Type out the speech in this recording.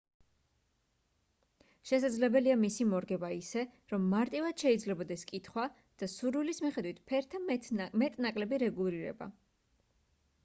შესაძლებელია მისი მორგება ისე რომ მარტივად შეიძლებოდეს კითხვა და სურვილის მიხედვით ფერთა მეტ-ნაკლები რეგულირება